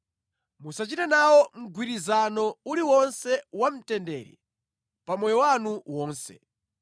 Musachite nawo mgwirizano uliwonse wa mtendere pa moyo wanu wonse.